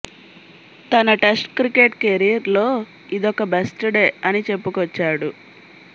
తన test cricket career లో ఇదొక బెస్ట్ డే అని చెప్పుకొచ్చాడు